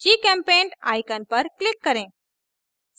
gchempaint icon पर click करें